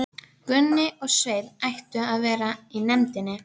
Hann var ómannblendinn og óþýður á manninn við fyrstu kynni.